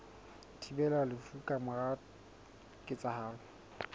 thibelang lefu ka mora ketsahalo